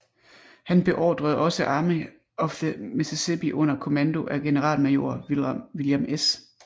Han beordrede også Army of the Mississippi under kommando af generalmajor William S